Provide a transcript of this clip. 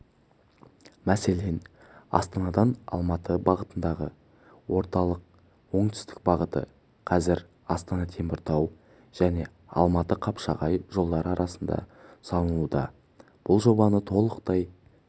мәселен астанадан алматы бағытындағы орталық-оңтүстік бағыты қазір астана-теміртау және алматы-қапшағай жолдары арасында салынуда бұл жобаны толықтай